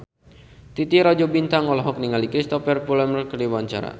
Titi Rajo Bintang olohok ningali Cristhoper Plumer keur diwawancara